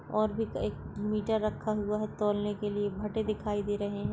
और भी एक मीटर रखा हुआ है तोलने के लिए भटे दिखाई दे रहे है।